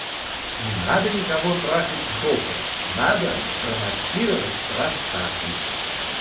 не надо никого трахать в жопу надо промассировать простату